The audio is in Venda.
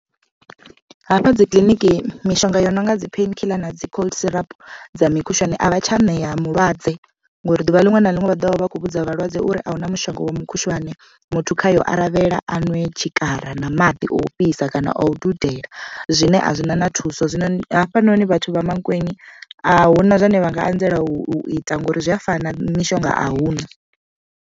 Hafha dzi kiḽiniki mishonga yo no nga dzi painkiller na dzi cold syrup dza mikhushwane avha tsha ṋea mulwadze ngori ḓuvha liṅwe na liṅwe vha ḓovha vha vha kho vhudza vhalwadze uri ahuna mushonga wa mukhushwane. Muthu khayo aravhela anwe tshikara na maḓi o fhisa kana o dudela zwine a zwina na thuso zwino hafha noni vhathu vha Mankweng ahuna zwine vha nga anzela u ita ngori zwi a fana mishonga ahuna.